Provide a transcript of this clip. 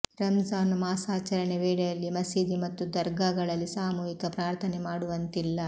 ರಂಜಾನ್ ಮಾಸಾಚರಣೆ ವೇಳೆಯಲ್ಲಿ ಮಸೀದಿ ಮತ್ತು ದರ್ಗಾಗಳಲ್ಲಿ ಸಾಮೂಹಿಕ ಪ್ರಾರ್ಥನೆ ಮಾಡುವಂತಿಲ್ಲ